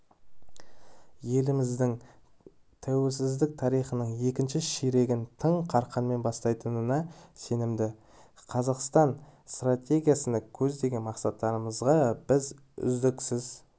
еліміздің тәуелсіздік тарихының екінші ширегін тың қарқынмен бастайтынына сенімді қазақстан стратегиясында көздеген мақсаттарымызға біз үздіксіз